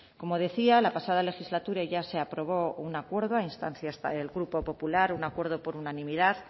como decía la pasada legislatura ya se aprobó un acuerdo a instancias del grupo popular un acuerdo por unanimidad